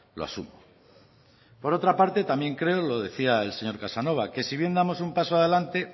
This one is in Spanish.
lo asumo por otra parte también creo lo decía el señor casanova que si bien damos un paso adelante